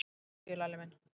Til hamingju, Lalli minn.